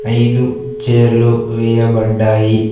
ఐదు చేర్లు వేయబడ్డాయి.